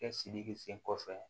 Kɛ sidi sen kɔfɛ